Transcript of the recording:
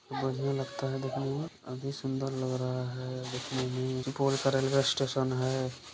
बढ़िया लगता है देखने मे अभी सुंदर लग रहा है देखने में सुपौल का रेलवे स्टेशन है।